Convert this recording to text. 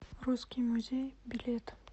русский музей билет